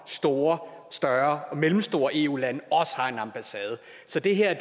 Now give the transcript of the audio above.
store større og mellemstore eu lande også har en ambassade så det her